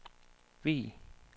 Vig